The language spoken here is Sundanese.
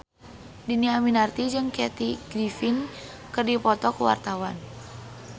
Dhini Aminarti jeung Kathy Griffin keur dipoto ku wartawan